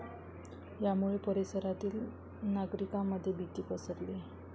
यामुळे परिसरातील नागरिकांमध्ये भीती पसरली आहे.